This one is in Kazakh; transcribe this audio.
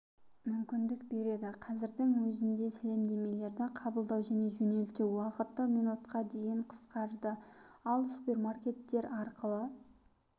мүмкіндік береді қазірдің өзінде сәлемдемелерді қабылдау және жөнелту уақыты минутқа дейін қысқарды ал супермаркеттер арқылы